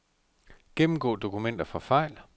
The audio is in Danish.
Gennemgå dokumenter for fejl.